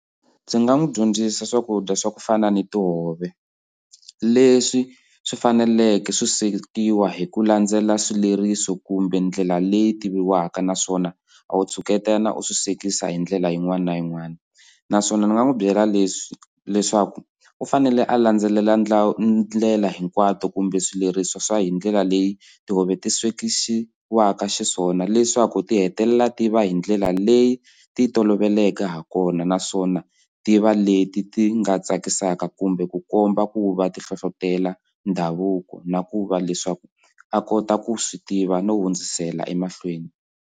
Ndzi nga n'wi dyondzisa swakudya swa ku fana ni tihove leswi swi faneleke swi swekiwa hi ku landzelela swileriso kumbe ndlela leyi tiviwaka naswona a wu tshuketana u swi swekisa hi ndlela yin'wana na yin'wana naswona ni nga n'wi byela leswi leswaku u fanele a landzelela ndlela hinkwato kumbe swileriso swa hi ndlela leyi tihove ti swekisiwa xiswona leswaku ti hetelela ti va hi ndlela leyi ti toloveleke ha kona naswona ti va leti ti nga tsakisaka kumbe ku komba ku va ti hlohlotelo ndhavuko na ku va leswaku a kota ku swi tiva no hundzisela emahlweni.